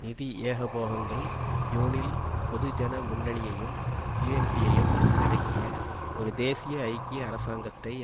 நிதி ஏகபோகங்கள் யூனில் பொதுஜன முன்னணியையும் யூஎன்பியையும் உள்ளடக்கிய ஒரு தேசிய ஐக்கிய அரசாங்கத்தை